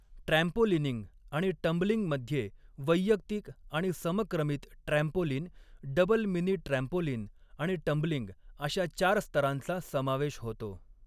Trampolining आणि टंबलिंगमध्ये वैयक्तिक आणि समक्रमित ट्रॅम्पोलिन, डबल मिनी ट्रॅम्पोलिन आणि टंबलिंग अशा चार स्तरांचा समावेश होतो.